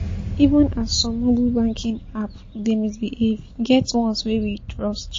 Even as some moble banking app dey misbehave, e get ones wey we trust.